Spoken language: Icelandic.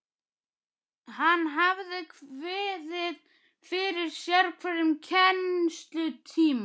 Hann hafði kviðið fyrir sérhverjum kennslutíma.